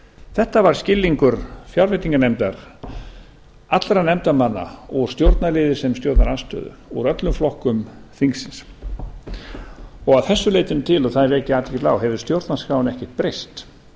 þetta var skilningur fjárveitinganefndar allra nefndarmanna úr stjórnarliði sem stjórnarandstöðu úr öllum flokkum þingsins og að þessu leytinu til og það vek ég athygli á hefur stjórnarskráin ekkert breyst